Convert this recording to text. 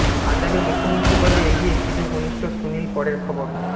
পঞ্জাবের মুখ্যমন্ত্রী পদে এগিয়ে সিধু ঘনিষ্ঠ সুনীল পরের খবর